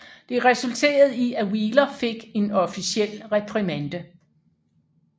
Det resulterede i at Wheeler fik en officiel reprimande